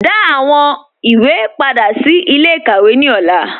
Dá àwọn ìwé pádà sí ilẹ̀-ikàwé ní ọlà